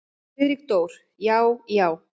Friðrik Dór: Já. já.